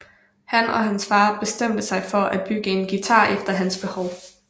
Han og hans far bestemte sig for at bygge en guitar efter hans behov